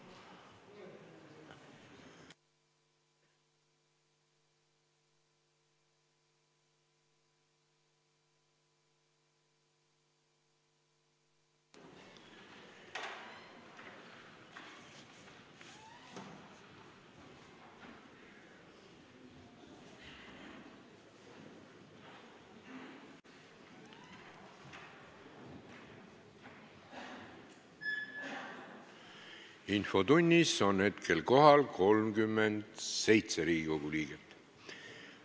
Kohaloleku kontroll Infotunnis on hetkel kohal 37 Riigikogu liiget.